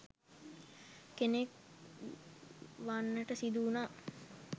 කෙනෙක් වන්නට සිදු වුණා